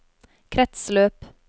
kretsløp